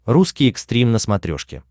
русский экстрим на смотрешке